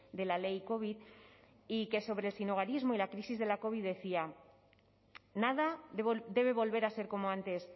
de la ley covid y que sobre el sinhogarismo y la crisis de la covid decía nada debe volver a ser como antes